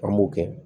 An b'o kɛ